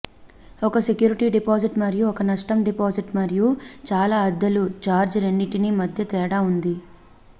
ఒక security deposit మరియు ఒక నష్టం డిపాజిట్ మరియు చాలా అద్దెలు ఛార్జ్ రెండింటి మధ్య తేడా ఉంది